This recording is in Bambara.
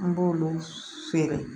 An b'olu feere